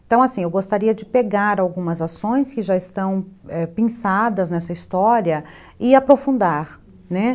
Então, assim, eu gostaria de pegar algumas ações que já estão, é, pinçadas nessa história e aprofundar, né.